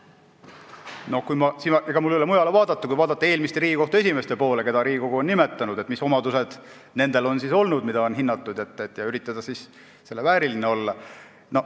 Ega mul siin ei ole mujale vaadata kui eelmiste Riigikohtu esimeeste poole, keda Riigikogu on nimetanud, mis omadused on nendel olnud, mida on hinnatud, ja üritada siis selle vääriline olla.